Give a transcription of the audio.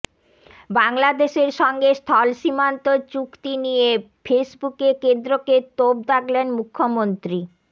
বাংলাদেশের সঙ্গে স্থলসীমান্ত চুক্তি নিয়ে ফেসবুকে কেন্দ্রকে তোপ দাগলেন মুখ্যমন্ত্রী